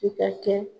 I ka kɛ